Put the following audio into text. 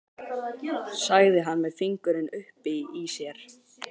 sagði hann með fingurinn uppi í sér.